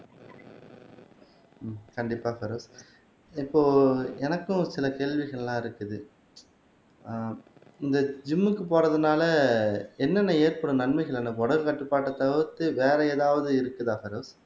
கண்டிப்பா பெரோஸ் இப்போ எனக்கும் சில கேள்விகள் எல்லாம் இருக்குது ஆஹ் இந்த ஜிம்முக்கு போறதுனாலே என்னென்ன ஏற்படும் நன்மைகள் என்ன உடல் கட்டுப்பாட்டை தவிர்த்து வேற எதாவது இருக்குதா பெரோஸ்